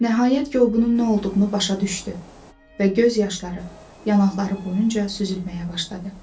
Nəhayət ki, o bunun nə olduğunu başa düşdü və göz yaşları yanaqları boyunca süzülməyə başladı.